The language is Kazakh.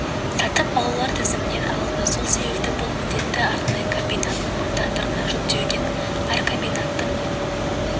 сатып алулар тізімінен алынды сол себепті бұл міндетті арнайы комбинат мамандарына жүктеуге болады әр комбинаттың